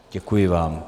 Děkuji vám.